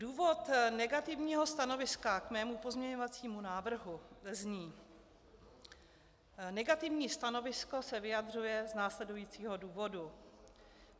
Důvod negativního stanoviska k mému pozměňovacímu návrhu zní: Negativní stanovisko se vyjadřuje z následujícího důvodu.